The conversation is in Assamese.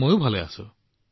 মই বহুত ভালে আছো